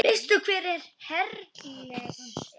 Veistu hver Hercules er?